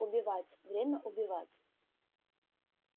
убивать время убивать